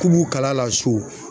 K'u b'u kala a la so.